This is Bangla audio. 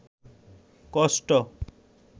কষ্ট